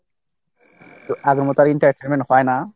তো আগের মতো আর entertainment হয় না।